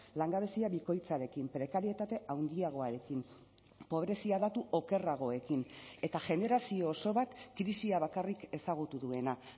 langabezia bikoitzarekin prekarietate handiagoarekin pobrezia datu okerragoekin eta generazio oso bat krisia bakarrik ezagutu duena